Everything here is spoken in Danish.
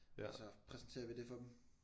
Og så præsenterer vi det for dem